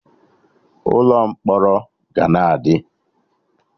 Ụlọ mkpọrọ ga na adị